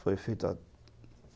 Foi feita.